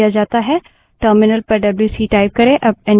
terminal window पर W C wc type करें